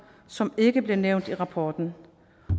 som ikke bliver nævnt i rapporten